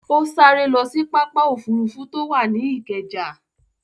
Ó sáré lọ sí pápá òfurufú tó wà ní Ìkẹjà.